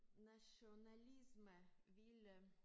Nationalisme ville